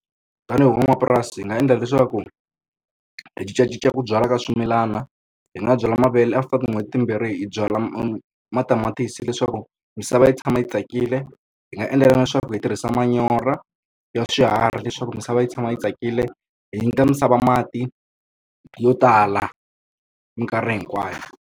Tanihi van'wamapurasi hi nga endla leswaku hi cincacinca ku byala ka swimilana, hi nga byala mavele after tin'hweti timbirhi hi byala matamatisi leswaku misava yi tshama yi tsakile. Hi nga endla na leswaku hi tirhisa manyoro ya swiharhi leswaku misava yi tshama yi tsakile, hi nyika misava mati yo tala minkarhi hinkwayo.